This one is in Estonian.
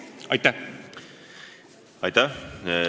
Aitäh!